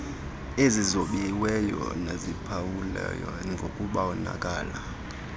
ezizobiweyo neziphawulwe ngokubonakala